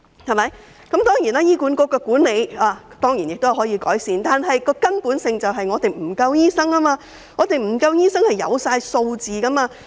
醫院管理局的管理當然可以改善，但根本的問題是醫生人手不足，這是有數據證明的。